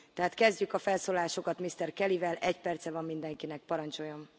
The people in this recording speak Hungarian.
Tehát kezdjük a felszólalásokat Mr. Kellyvel, egy perce van mindenkinek, parancsoljon.